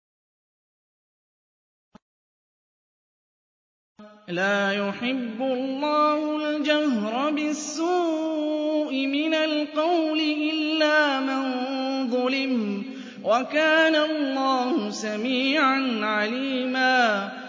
۞ لَّا يُحِبُّ اللَّهُ الْجَهْرَ بِالسُّوءِ مِنَ الْقَوْلِ إِلَّا مَن ظُلِمَ ۚ وَكَانَ اللَّهُ سَمِيعًا عَلِيمًا